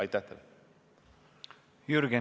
Jürgen Ligi, palun!